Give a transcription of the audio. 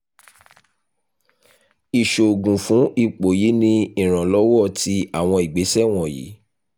iṣoogun fun ipo yii ni iranlọwọ ti awọn igbesẹ wọnyi